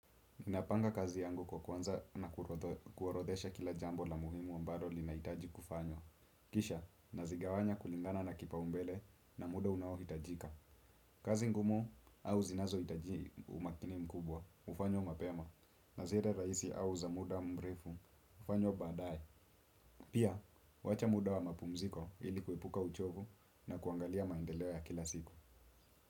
Ninapanga kazi yangu kwa kuanza na kuorodhesha kila jambo la muhimu ambalo linahitaji kufanywa. Kisha, nazigawanya kulingana na kipaumbele na muda unaohitajika. Kazi ngumu au zinazohitaji umakini mkubwa, hufanywa mapema. Na zile rahisi au za muda mrefu, hufanywa baadaye. Pia, huacha muda wa mapumziko, ili kuepuka uchovu na kuangalia maendeleo ya kila siku.